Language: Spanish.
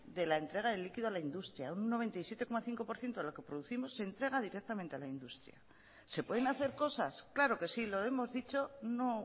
de la entrega de líquido a la industria un noventa y siete coma cinco por ciento de lo que producimos se entrega directamente a la industria se pueden hacer cosas claro que sí lo hemos dicho no